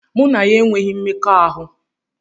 Mụ na ya enweghị mmekọahụ.